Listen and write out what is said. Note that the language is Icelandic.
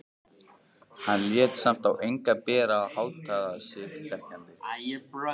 Hann lét samt á engu bera og háttaði sig þegjandi.